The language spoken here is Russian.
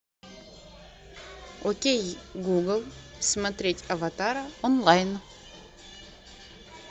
окей гугл смотреть аватара онлайн